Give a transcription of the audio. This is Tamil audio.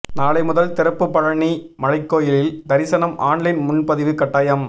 நாளை முதல் திறப்பு பழநி மலைக்கோயிலில் தரிசனம் ஆன்லைன் முன்பதிவு கட்டாயம்